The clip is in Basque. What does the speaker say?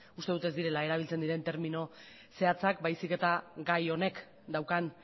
uste dut ez direla erabiltzen diren termino zehatzak baizik eta gai honek daukan